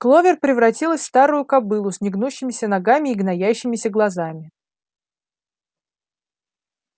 кловер превратилась в старую кобылу с негнущимися ногами и гноящимися глазами